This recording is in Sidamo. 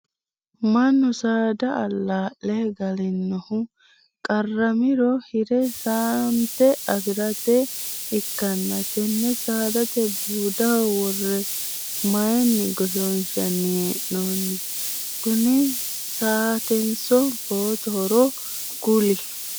Mannu saada alaa'le galannihu qaramiro hire saanete afirate ikanna tenne saadate buudaho wore mayinni goshoonshanni hee'noonni? Kunni saatenso boottohoro kuli?